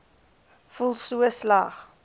voel so sleg